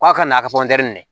K'a ka n'a ka di